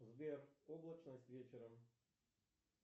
сбер облачность вечером